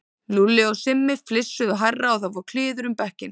Lúlli og Simmi flissuðu hærra og það fór kliður um bekkinn.